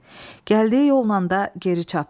Gəldiyi yollan da geri çapdı.